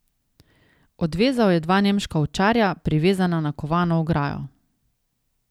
Odvezal je dva nemška ovčarja, privezana na kovano ograjo.